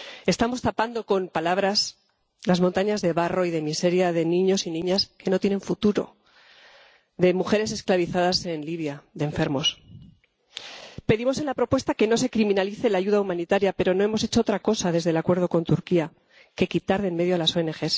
Estamos tapando con palabras las montañas de barro y de miseria de niños y niñas que no tienen futuro, de mujeres esclavizadas en Libia, de enfermos. Pedimos en la propuesta que no se criminalice la ayuda humanitaria, pero no hemos hecho otra cosa, desde el acuerdo con Turquía, que quitar de en medio a las ONG.